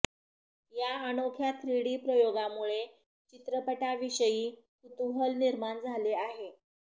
या अनोख्या थ्रीडी प्रयोगामुळे चित्रपटाविषयी कुतूहल निर्माण झाले आहे